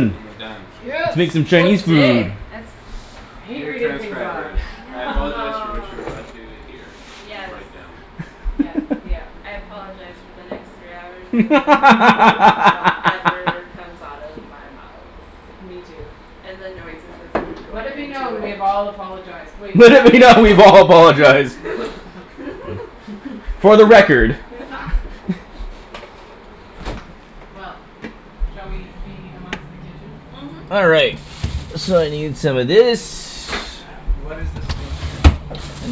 And we're done. Yes! Making Chinese food. That's I hate Dear reading things transcribers aloud. I apologize for what you are about to hear and Yes. write down. Yep. Yep. I apologize for the next three hours of whatever comes out of my mouth. Me too. And the noises of food Let going it be into known. We it. have all apologized. Wait, Let except it be known. Ian! We've all apologized! For the record. Well. Shall we be amongst the kitchen? Mhm. All right, so I need some of this. What is this thing here?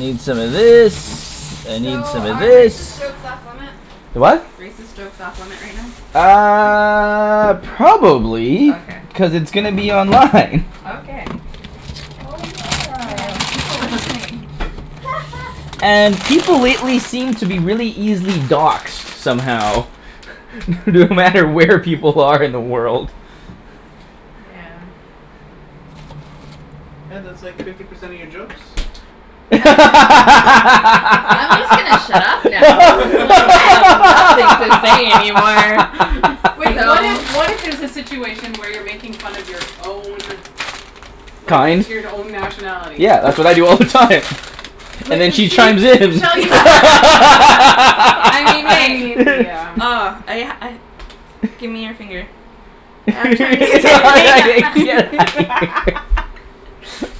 Need some of this, I need So, some of are racist this. jokes off limit? The what? Racist jokes off limit right now? Uh Probably, Okay. cuz it's gonna be online. Okay. Oh Oh yeah, yeah! there's people listening. And people lately seem to be really easily doxed somehow. No matter where people are in the world. Yeah. Hey, that's like fifty percent of your jokes. I'm just gonna shut up now. Like, I have nothing to say any more. Wait, what if, what if there's a situation where you're making fun of your own like, Kind? your n- own nationality? Yeah, that's what I do all the time. And then she use chimes this. in. I mean, I wait. mean, yeah. oh. I I, give me your finger.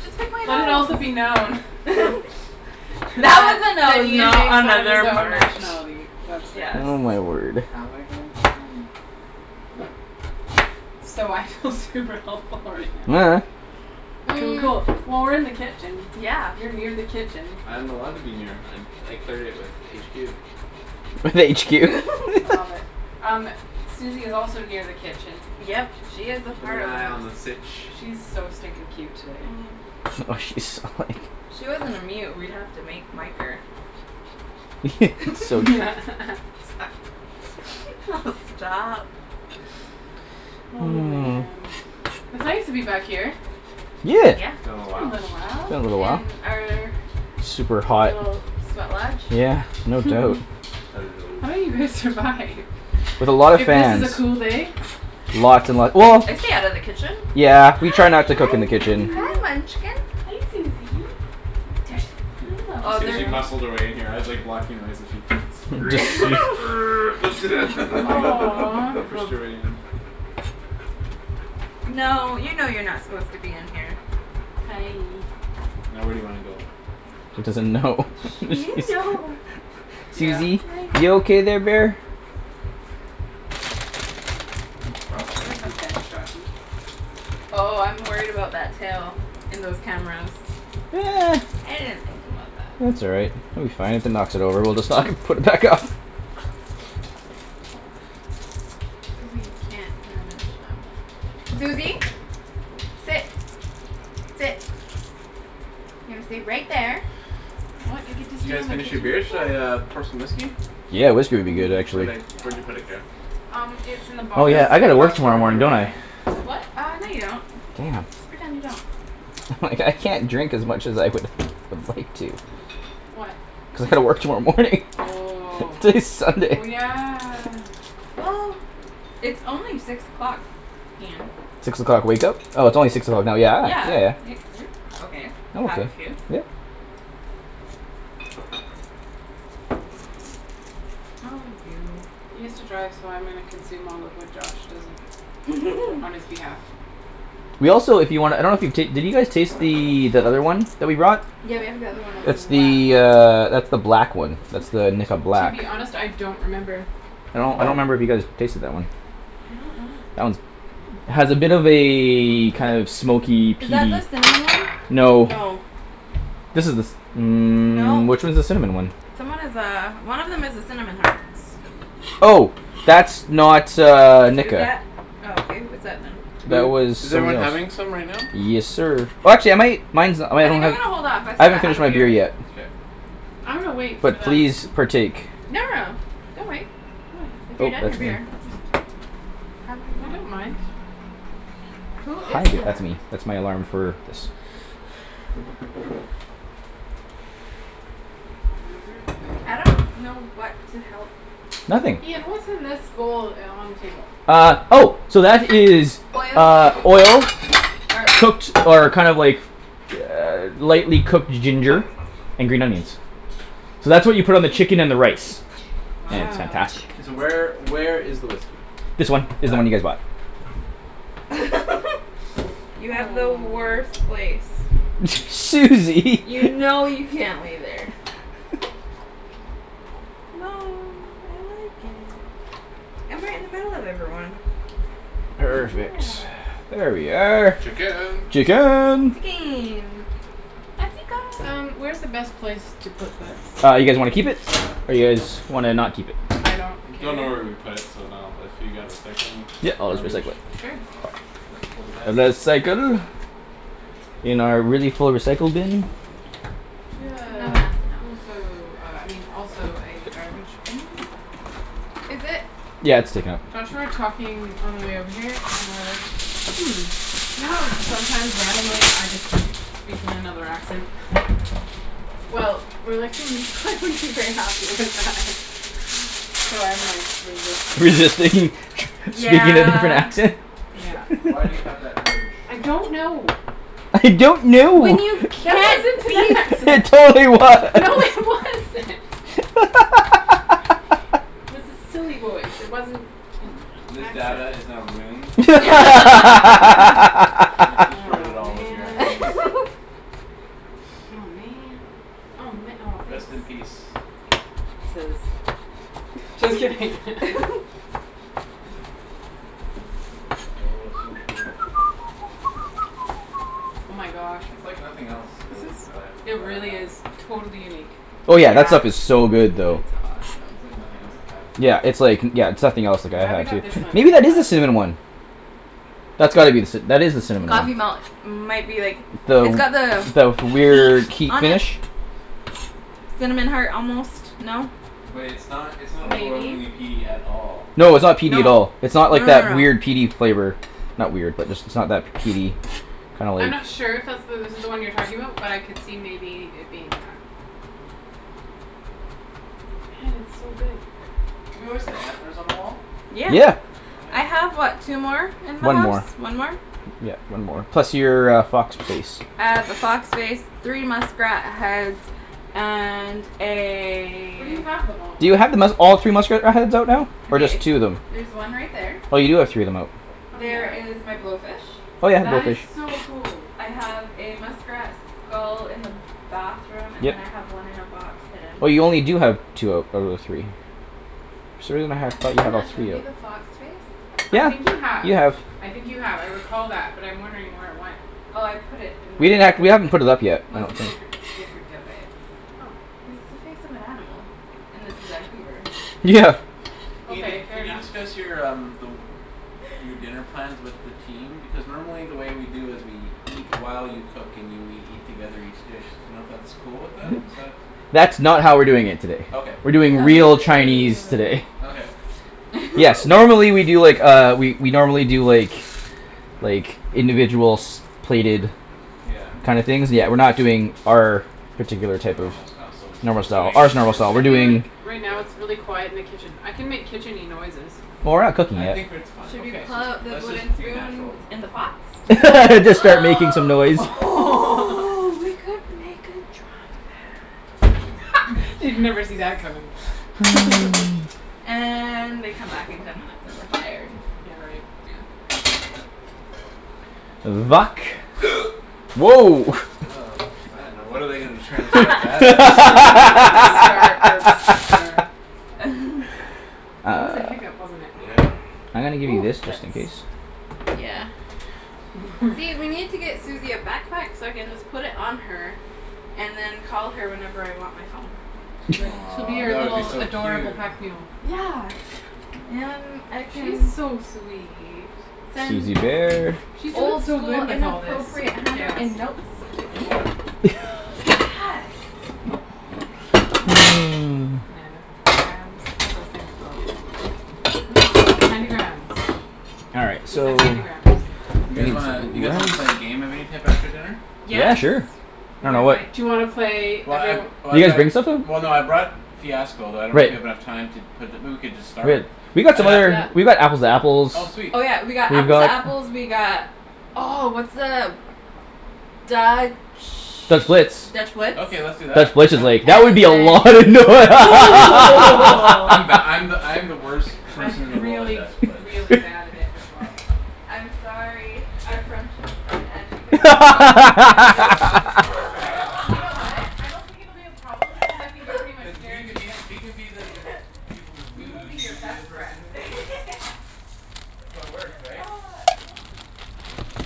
Just pick my Let it also nose. be known That That, was a that nose, Ian makes not fun of his another own part. nationality. Yes. Oh my word. So, I feel super helpful right now. Cool, cool. Well, we're in the kitchen, Yeah. you're near the kitchen. I am allowed to be near, I, I cleared it with HQ. With HQ. I love it. Um, Suzie is also near the kitchen. Yep, she is a Keepin' an part of this. eye on the sitch. She is so stinkin' cute today. Oh she's If she wasn't a mute, we would have to make, mic her. Yes! Oh stop! Oh Hmm. man. It's nice to be back here. Yeah. Yeah. It's been a It's been while. a little while. Been a little while. In our Super hot. little sweat lodge. Yeah, no doubt. Hello. How do you guys survive? With a lot of If this is a fans. cool day? Lots and lot- well I stay out of the kitchen. Yeah, we try not to cook in the kitchen. Hi, munchkin! Hey, Suzie! She escaped, she muscled her way in here, I was like, blocking her way, so she squeezed in err, lifted Aw pushed her way in. No, you know you're not supposed to be in here. Hi. Now, where do you wanna go? It doesn't know. You know. Suzie? You okay there, bear? Give her some pets, Joshy. Oh, I'm worried about that tail and those cameras. I didn't think about that. That's all right. It will be fine. If it knocks it over, well just, like, put it back up! But we can't Suzie! Sit! Sit! You're gonna stay right there. What? You get to Did you stay guys on the finish your kitchen? beers? Shall I uh pour some whiskey? Yeah, whiskey would be good Where'd actually. I, where'd you put it, Kara? Um, it's in the Oh box. And, yeah, I your gotta glass work is tomorrow over here, morning, right, don't Ian? I? What, what? Uh, no, you don't. Damn. Just pretend you don't. Like, I can't drink as much as I would, would like to. Why? Cuz I gotta work tomorrow morning. Oh, It's like oh Sunday. yeah. Well it's only six o'clock. Ian. Six o'clock wake-up? Oh it's only six o'clock now. Yeah. Yeah, Yeah, y- yeah. you're okay, to have a few. Yep. Oh you. He has to drive so I'm gonna consume all of what Josh doesn't. Fo- on his behalf. We also, if you wanna, I don't know if you ta- you guys taste the, that other one that we brought? Yeah, we have the other one as It's well. the uh that's the black one. That's the Nikka To Black. be honest, I don't remember. I don't, I don't remember if you guys tasted that one. I don't know. That one's, has a bit of a kind of smoky, Is peaty- that the cinnamon one? No. No. This is the ci- , mm, No. which one's the cinnamon one? Someone has a, one of them has a cinnamon Oh! That's not uh Nikka. Oh okay, what's that then? That Who, was is everyone something having else. some right now? Yes, sir. Watch it, mate! Mine's the I I think I'm going to hold off, I still haven't got half finished a my beer beer. yet. K. I'm gonna wait for But them. please, partake. No, no, no, don't wait. If you're done your beer, just Have it if you I don't want. mind. Who Hi is there. that? That's me, that's my alarm for this. Everything. I don't know what to help Nothing. with. Ian, what's in this bowl uh on the table? Ah, oh! So that is Oil. uh oil, Er cooked or kind of like lightly cooked ginger, and green onions. So that's what you put on the chicken and the rice. Yeah, it's fantastic. Wow. K, so where, where is the whiskey? This one is the one you guys bought. You have the worst place. Aw. Suzie! You know you can't lay there. No! I like it. I'm right in the middle of everyone! Perfect. Yeah. There we are. Chicken! Chicken! Chicken! Atika Um, where is the best place to put this? Uh, you guys wanna keep it? Or you guys wanna, not keep it? I don't care? Don't know where we would put it, so no. If you got recycling or garbage? Sure. It's for the best. reh-cycle. In our really full recycle bin. Do you No one have has to know. also uh I mean, also a garbage bin? Is it? Yeah, it's taken out. Josh and I were talking on our way over here, and were like, "Hmm, you know how sometimes randomly, I just speak in another accent?" Well, we were like, "Hmm, they wouldn't be very happy with that." So I'm, like, resisting. Resisting? Speaking in a different Yeah. accent? Yeah. Why do you have that urge? I don't know! I don't know! When you That can't wasn't be an It accent! yourself! totally No, it was! wasn't! It was a silly voice. It wasn't an This accent. data is now ruined. You destroyed it Aw, all with your accents. man! Aw, man! Oh ma- oh Rest in thanks. peace. Chiz. Just kidding! Oh, so good. Oh my gosh. That's like nothing else, really, that I've, It that I've really had. is totally unique. Oh yeah, that stuff Yeah. is so good It's though. awesome. It's like nothing else I've had. Yeah, it's like, yeah, it's nothing else like I'm I've glad we had got this too. one, and Maybe not that the is the other cinnamon one. one? That's gotta be the cinna- , that is the cinnamon Coffey one. Malt, might be like, it's got the The, the weird key beak on it? finish? Cinnamon heart almost. No? Wait, it's not, it's not Maybe. overwhelmingly peaty at all. No, it's not peaty at No. all. It's No, not like no, that weird, no. peaty flavor. Not weird, but just it's not that peaty, kinda I'm like- not sure if that's the, this is the one you're talking about, but I could see maybe it being that. Hey, it's so good. Have you always had antlers on the wall? Yeah. Yeah. I have what, two more? In my One house? more. One more? Yep, one more. Plus your uh fox face. I have a fox face, three muskrat heads and Where do a- you have them all? Do you have the musk- all three muskrat uh heads out now? Or just two of them? There's one right there. Oh, you do have three of them out. Oh There yeah? is my blowfish. Oh yeah, and That is blowfish. so cool. I have a muskrat skull in the bathroom, and then I have one in a box, hidden. Oh, you only do have two out of the three. Yeah. thought Have, you have I had all not, shown three you out. the fox face? I think you Yeah, have, you have. I think you have. I recall that but I'm wondering where it went. Oh, I put it in my We didn't ha- , we haven't put it up yet, I most don't people think. creep, get creeped out by it. Oh, its a face of an animal. And this is Vancouver. Yeah. Ian, did, Okay, fair did you enough. discuss your um the, your dinner plans with the team? Because normally the way we do is we eat while you cook and you, we eat together each dish. D'you know if that's cool with them? Is that That's not how we're doing it today. Okay. We're doing Oh real Chinese ooh. today. Okay. Yes, normally we do, like, uh we we normally do, like, like, individuals, plated Yeah. kind of things, but we're not doing our particular A type of normal style, so normal what're style, doing is our normal more style, I we're suited feel to, like, doing- right now, with- it's really quiet in the kitchen. I can make kitchen-y noises. Well, we're not cooking I yet. think we're, it's fine. Should we Let's pull just, out the let's just wooden be spoon natural. that's in the pots? We Except could for- like Just start making some noise. oh, we could make a drum band. They'd never see that coming. And, they come back in ten minutes, and we're fired. Yeah, right. Yeah. Vuck. Woah! Oh man, now what are they gonna transcribe that as? Start, burps, slur. That was a hiccup, wasn't it? Yeah. I'm gonna give you Ooh this just in that's- case. Yeah. Mhm. See, we need to get Suzie a backpack so I can just put it on her and then call her whenever I want my phone. She's like, she'll be Aw, your that would be little so adorable cute. pack mule. Yeah! And I She's can- so sweet. Then- Susie bear. She's doing Old so school good with all this inappropriate hammer chaos. and notes to Ian. Yes! Mm. Nana. Grams? What are those things called? What are those called? Candy grams. All right, We so- canned candy grams. You guys wanna, you guys wanna play a game of any type after dinner? Yeah, Yes! sure. I dunno, what- Do you wanna play Well I've, every- Did oh I've you guys got, bring somethin'? well no, I brought Fiasco but I don't know if we Great. have enough time to put the, but we could just start. Great. We've got some And I other, we've got Apples to Oh Apples, we've sweet. Oh yeah, we got Apples To got Apples, we got, oh what's the Dutch, Dutch Blitz. Dutch Blitz? Okay, let's do that, Dutch Blitz is yeah. like, that would be a lot of And noi- then I'm the, I'm the, I'm the worst I'm person in the world at really Dutch Blitz really bad at it as well. I'm sorry, our friendships might end because I'm so I'm just gonna, competitive. I'm just gonna let you I win, know! You cuz know what? I don't think it will be a problem because I think you're pretty cuz much we can guaranteed be, wins. we can be the, the people who lose, and you can be the person who wins. That's how it works, right? Ah, yeah. I mean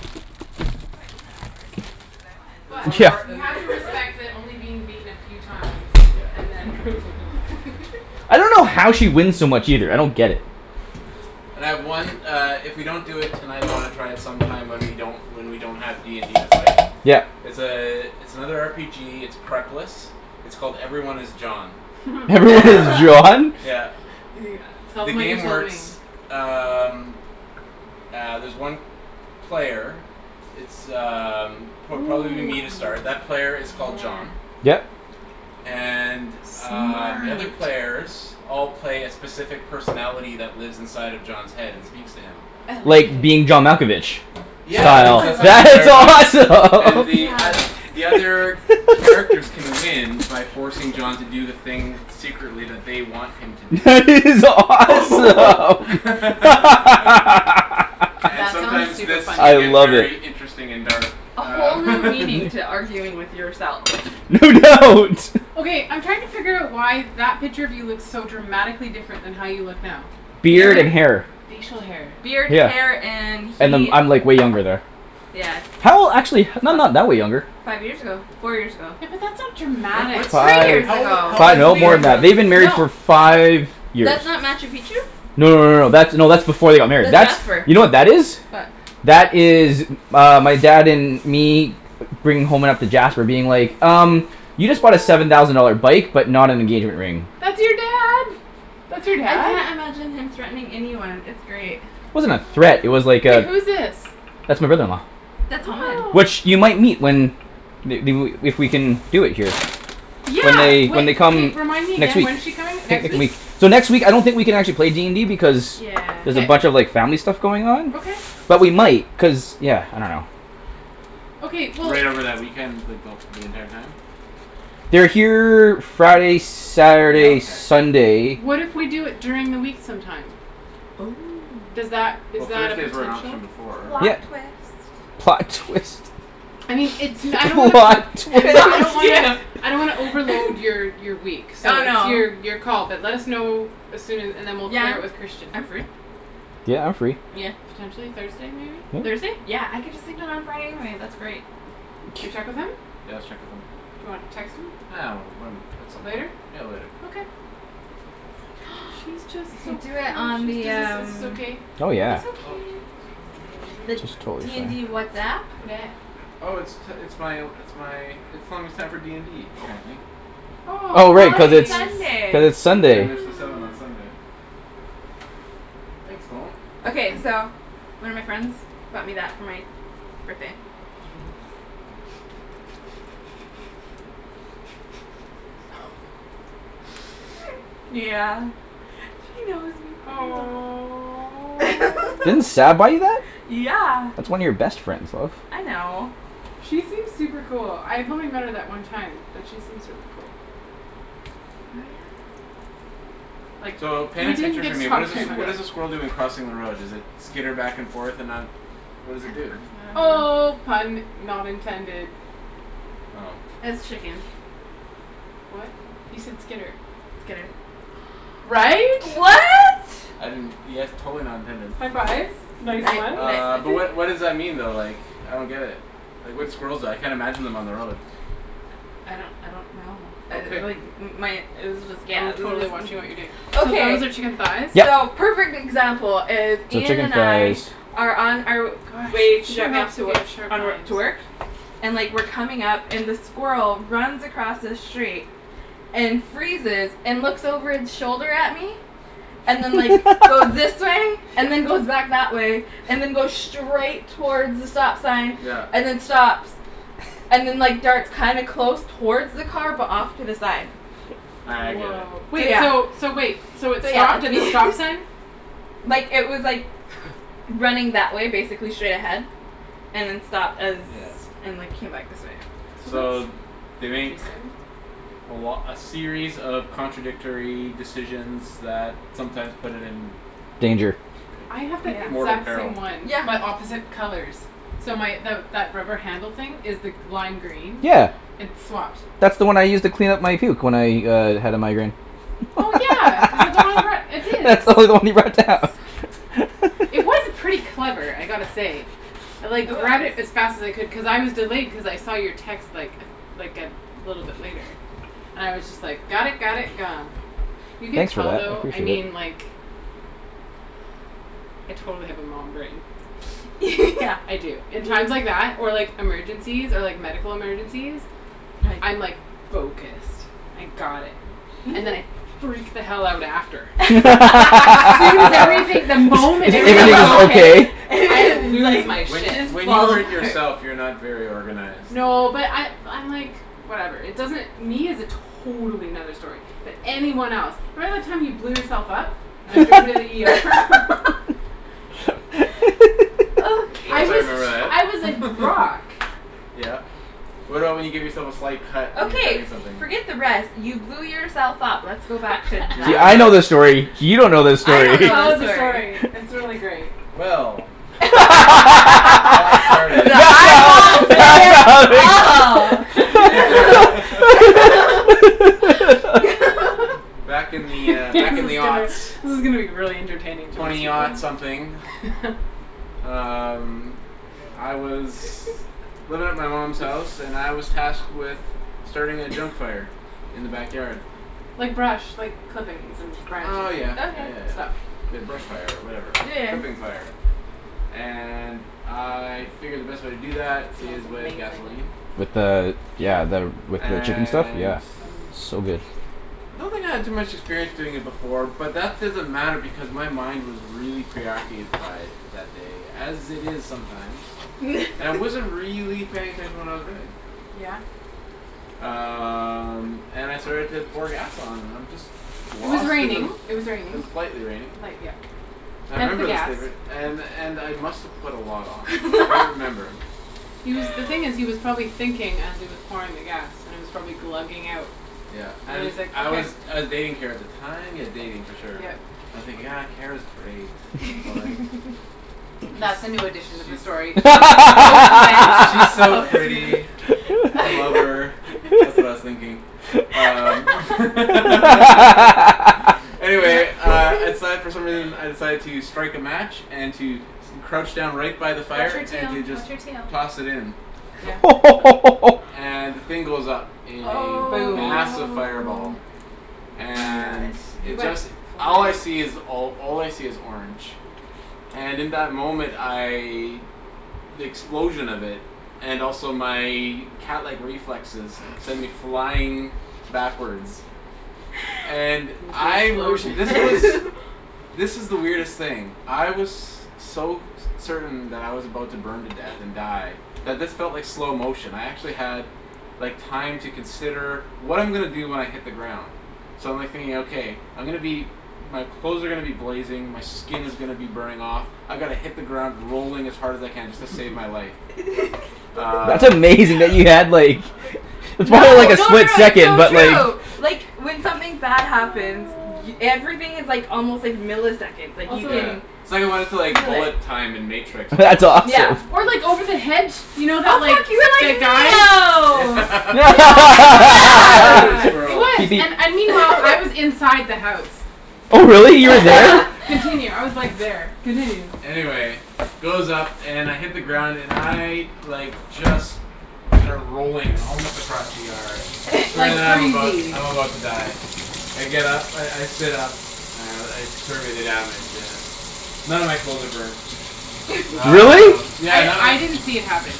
that's why Ian and I work, he loses, I win There's But, one more you have uh to respect that only being beaten a few times Yep. and then. I don't know how she wins so much either. I don't get it. And I have one uh if we don't do it tonight I wanna try it sometime when we don't, when we don't have D and D to play. Yep. It's a, it's another R P G, it's prep-less, its called 'Everyone Is John.' 'Everyone Is John'? Yeah. Tell The them Yes. what you game told works me. um ah there's one player, it's um pro- Ooh, probably will be me to start, that player is called yeah. John. Yep. And um, the other Smart. players all play a specific personality that lives inside of John's head and speaks to him. I love it. Like 'Being John Malkovich.' Yeah, Wow, I that's what it's that like is inspired by. it. And the Yes. oth- awesome! the other characters can win by forcing John to do the thing secretly that they want him to do. That is awesome! And That sounds sometimes, super this funny. can I get love it! very interesting and dark. A whole Um. new meaning to arguing with yourself. No doubt! Okay, I'm trying to figure out why that picture of you looks so dramatically different than how you look now. Beard and hair. Facial hair. Beard, hair Yeah, and and he- I'm, I'm like way younger there. Yes. How, actually h- no, not that way younger. Five years ago. Four years ago. Yeah, but that's not dramatic. Three Five, years How old i- ago, how old five, is cuz no, we more Ian were- than that. from They've been married No for five years. That's not Machu Picchu? No, no, no, no. That's, no, that's before they got married. That's That's, Jasper. you know what that is? What? That is uh my dad and me bringing home Jasper being like, "Um, you just bought a seven thousand dollar bike, but not an engagement ring." That's your dad! That's your I dad? can't imagine him threatening anyone. It's great. Wasn't a threat, it was like Wait, a- who's this? That's my brother-in-law. That's. Which, you might meet when they, they wou, if we can do it here. When Yeah! they, when they come Remind me next again. week. When's she coming? Next week? So next week, I don't think we can actually play D and D because Yeah. there's K. a bunch of like family stuff going on. Okay. But we might, cuz, yeah, I dunno. Okay, we'll Right over that weekend, like the wh- the entire time? They're here Friday, Yeah, Saturday, okay. Sunday. What if we do it during the week sometime? Oh. Does that, is Well, that a Thursday's were an potential? option before, right? Plot twist. Plot twist. I mean, it's no- , I don't wanna put, Plot I twist! mean, I don't Yeah! wanna, I don't wanna overload your your week. So, Oh it's no. your, your call but let us know as soon a- and then we'll Yeah, clear it I'm, with Christian. I'm free. Yeah, I'm free. Yeah. Potentially Thursday, maybe? Thursday? Yeah! I get to sleep in on Friday anyway. That's great. Should we check with him? Yeah, let's check with him. Do you wanna text him? Ah, when, when, at some point. Later? Yeah, later. Okay. She's just We so could do it on precious! Does the this, is this um okay? Oh yeah. It's okay. Oh! Someone's calling me. the D and D WhatsApp? Who dat? Oh it's t- it's my, it's my, it's telling me it's time for D and D, apparently Oh, Oh how right, Oh, cuz it's, nice! cuz it's it's Sunday. Ten Sunday. minutes til seven on Sunday. Thanks, phone! Okay, so, one of my friends bought me that for my birthday. Yeah. She knows me pretty well. Didn't Aw. Sab buy you that? Yeah! That's one of your best friends, love. I know. She seems super cool. I've only met her that one time, but she seems really cool. Oh yeah? Like, So, paint a we didn't picture for get me. to What talk is a s- very much. what is a squirrel doing crossing the road? Does it skitter back and forth and not, what does it do? Oh, pun not intended. Oh. It's chicken. What? He said skitter. right? Right? I didn't, yes totally not intended. High fives. Nice ones. Uh but what what does that mean though like, I don't get it, like what do squirrels do, I can't imagine on them on the road. I don't I don't know. okay Uh like my it was just I'm yeah totally watching what you're doing. So Okay, those are chicken thighs? Yep. so perfect example is So Ian chicken and I thighs. are on our Gosh, way it to sure drop me off helps to if wo- you have sharp on wo- knives. to work. And like we're coming up and the squirrel runs across the street and freezes and looks over its shoulder at me, and then like goes this way, and then goes back that way and then goes straight towards the stop sign Yeah. and then stops and then like darts kinda close towards the car but off to the side. Ah I get it. Wow. So Wait yeah. so, so wait, so it So yeah stopped that's at the me stop sign? Like it was like, running that way basically straight ahead and then stopped as Yeah. and like came back this way. So So that's they make interesting. a lo- a series of contradictory decisions that sometimes put it in Danger. I have So that yeah. mortal exact peril. same one Yeah. but opposite colors. So my the that rubber handle thing is the lime green, Yeah. it That's the one I used to clean up my puke when I uh had a migraine. Oh yeah, is that the one I brought, it is. That's the only one you brought down. It was pretty clever, I gotta say. I like grabbed it as fast as I could cuz I was delayed cuz I saw your text like like a little bit later and I was just like got it, got it, gone. You can Thanks for tell that, I though, I appreciate it. mean like, I totally have a mom brain. Yeah. I do. In times like that, or like emergencies, or like medical emergencies, I'm like focused, I got it. And then I freak the hell out after. As soon as Well everything, the If moment if everything is everything is okay, okay. I lose like my When shit. just when you follow hurt yourself you're not very organized. No but I I'm like, whatever, it doesn't, me is a totally another story, but anyone else. Remember the time you blew yourself up, and I Yeah drove you to the ER? Yep. Of I course I was Okay. remember that. I was like rock. Yeah. What about when you give yourself a slight cut when you're cutting Okay, something? forget the rest. You blew yourself up. Let's go back to You that. really Yeah, I wanna know this story, you don't know this I story. don't Tell know this us the story. story, it's really great. Well It all started The eyeballs say it all. Back in the, uh, This back in is the gonna this is gonna be really entertaining Twenty something. people. Um I was living at my mom's house and I was tasked with starting a junk fire in the backyard. Like brush, like clippings and branches Oh and yeah, yeah Okay. yeah and yeah. stuff. The brush fire or whatever, Yeah yeah. clipping fire. And I figured the best way to do It that smells is with amazing. gasoline. With the, Yeah. yeah the with the chicken stuff? And Yeah, Mm. so good. I don't think I had too much experience doing it before but that doesn't matter because my mind was really preoccupied that day, as it is sometimes. And I wasn't really paying attention to what I was doing. Yeah. Um and I started to pour gas on and I'm just It was lost in the raining, it was It was raining. lightly raining. Light yep. I Hence the remember this gas. day and and I must've put a lot on, I don't remember. He was the thing is he was probably thinking as he was pouring the gas and it was probably glugging out Yeah and and he's like, I "okay." was I was dating Kara at the time, yeah dating for sure. Yep. And I'm thinking, ah Kara's great That's a new addition She's to she's this story. she's post event? She's so Post event. pretty. I love her, that's what I was thinking. Um Anyway uh I decided for some reason I decided to strike a match and to crouch down right by the Watch fire your and tail, to just watch your tail. toss it in. Yeah. And the thing goes up in a Aw. Boom. massive Oh fireball. my And gosh. You it went just, all I flying. see is all I see is orange. And in that moment I, the explosion of it, and also my catlike reflexes send me flying backwards. And the I r- this explosion was, this is the weirdest thing. I was so certain that I was about to burn to death and die that this felt like slow motion. I actually had like time to consider what I'm gonna do when I hit the ground. So I'm like thinking okay, I'm gonna be, my clothes are gonna be blazing, my skin is gonna be burning off, I gotta hit the ground rolling as hard as I can just to save my life. That's Um amazing that you had like, it probably was No, like no a no split no it's second, so but true. Like like when something bad happens y- everything is like almost like milliseconds, like you Also Yeah. can It's like I wanted to like feel it. bullet time in matrix That's almost. Yeah. awesome. Or like over the hedge, you know that like, Oh that guy. fuck, you Yeah. were like Neo! Speaking of Yes. Yes! It squirrels. was and and meanwhile, I was inside the house. Oh really, you were Continue. there? Continue. I was like there. Continue. Anyway it goes up and I hit the ground and I like just start rolling, almost across the yard. Like I'm about crazy. I'm about to die. I get up, I I sit up and I survey the damage and none of my clothes are burned. Really? Um yeah I none of I didn't see it happen.